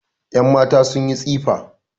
Yanmata sun yi tsifa